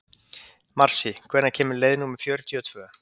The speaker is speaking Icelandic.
Marsý, hvenær kemur leið númer fjörutíu og tvö?